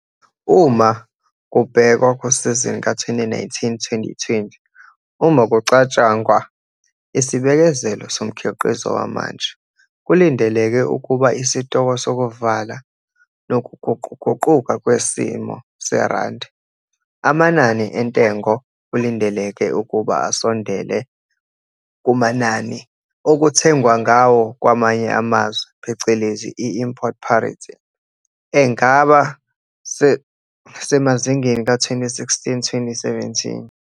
Uma kubhekwa kusizini ka-2019, 2020, uma kucatshangwa, isibikezelo somkhiqizo wamanje, kulindeleke ukuba isitoko sokuvala nokuguquguquka kwesimo serandi, amanani entengo kulindeleke ukuba asondele kumanani okuthengwa ngawo kwamanye amazwe phecelezi i-import parity, engaba semazingeni ka-2016, 2017.